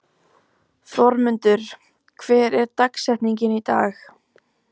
Þormundur, hver er dagsetningin í dag?